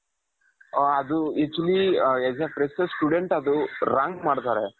ಅ ಅದು actually as a fresher student ಅದು rank ಮಾಡ್ತಾರೆ.